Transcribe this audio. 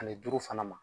Ani duuru fana ma